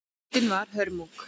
Þrautin var hörmung